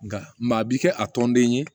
Nka a bi kɛ a tɔnden ye